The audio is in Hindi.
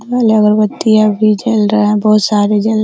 ये वाला अगरबत्ती अभी जल रहा है बहुत सारे जल --